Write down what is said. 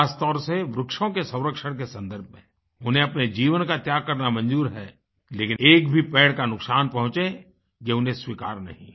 खासतौर से वृक्षों के संरक्षण के संदर्भ में उन्हें अपने जीवन का त्याग करना मंजूर है लेकिन एक भी पेड़ का नुकसान पहुँचे ये उन्हें स्वीकार नहीं है